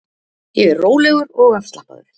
Ég er rólegur og afslappaður.